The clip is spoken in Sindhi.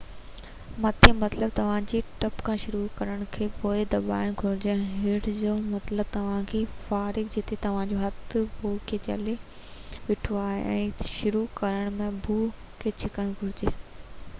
مٿي مطلب توهان کي ٽپ کان شروع ڪرڻ ۽ بو کي دٻائڻ گهرجي، ۽ هيٺ جو مطلب توهان کي فراگ جتي توهان جو هٿ بو کي جهلي بيٺو آهي کان شروع ڪرڻ ۽ بو کي ڇڪڻ گهرجي